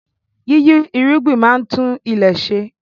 Yíyí irúgbìn máa ń tún ilẹ̀ ṣe